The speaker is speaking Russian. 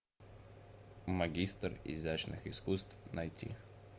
магистр изящных искусств найти